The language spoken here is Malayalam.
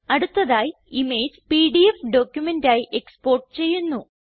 അടുത്തതായി ഇമേജ് പിഡിഎഫ് ഡോക്യുമെന്റായി എക്സ്പോർട്ട് ചെയ്യുന്നു